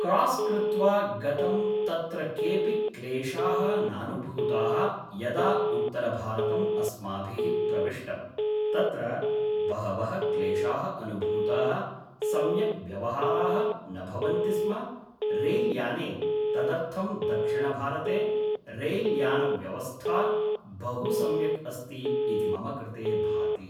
cross कृत्वा गतं तत्र केऽपि क्लेशाः नानुभूताः यदा उत्तरभारतम् अस्माभिः प्रविष्टं तत्र बहवः क्लेशाः अनुभूताः सम्यक् व्यवहाराः न भवन्ति स्म रैल्याने तदर्थं दक्षिणभारते रैल्यानव्यवस्था बहु सम्यक् अस्ति इति मम कृते भाति